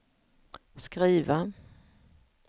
skriva